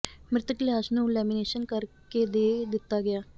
ਮ੍ਰਿਤਕ ਦੀ ਲਾਸ਼ ਨੂੰ ਲੈਮੀਨੇਸ਼ਨ ਕਰਕੇ ਦੇ ਦਿੱਤਾ ਗਿਆ